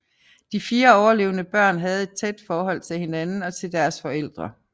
De fire overlevende børn havde et tæt forhold til hinanden og til deres forældre